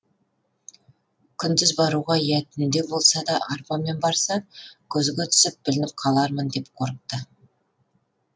күндіз баруға я түнде болса да арбамен барса көзге түсіп білініп қалармын деп қорықты